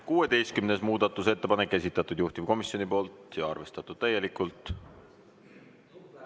16. muudatusettepanek, esitanud juhtivkomisjon ja arvestatud täielikult.